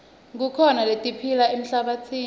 kukhona letiphila emhlabatsini